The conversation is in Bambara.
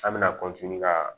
An bɛna ka